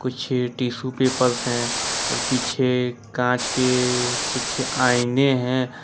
पीछे tissue papers हैं और पीछे कांच के कुछ आईने हैं।